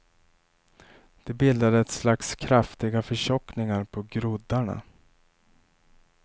De bildade ett slags kraftiga förtjockningar på groddarna.